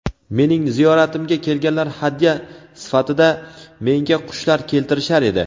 Mening ziyoratimga kelganlar hadya sifatida menga qushlar keltirishar edi.